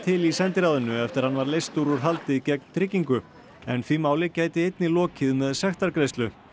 til í sendiráðinu eftir að hann var leystur úr haldi gegn tryggingu en því máli gæti einnig lokið með sektargreiðslu